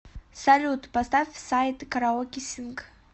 салют поставь сайт караоке синг